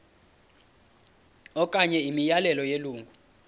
okanye imiyalelo yelungu